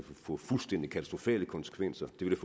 få fuldstændig katastrofale konsekvenser det vil